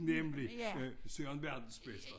Nemlig Søren verdensmester